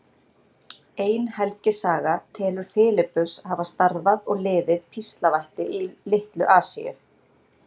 Ein helgisaga telur Filippus hafa starfað og liðið píslarvætti í Litlu-Asíu.